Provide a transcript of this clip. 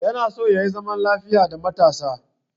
Yana so yayi zaman lafiya da matarsa